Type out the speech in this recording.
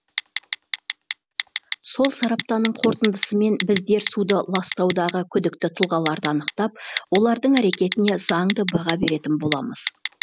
сол сараптаның қорытындысымен біздер суды ластаудағы күдікті тұлғаларды анықтап олардың әрекетіне заңды баға беретін боламыз